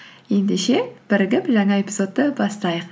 ендеше бірігіп жаңа эпизодты бастайық